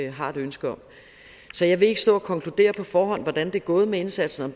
har et ønske om så jeg vil ikke stå og konkludere på forhånd hvordan det er gået med indsatsen og